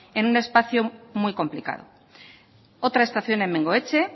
en un espacio muy complicado otra estación en bengoetxe